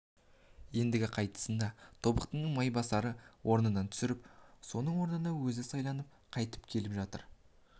ендігі қайтысында тобықтының майбасарды орнынан түсіріп соның орнына өзі сайланып қайтып келе жатыр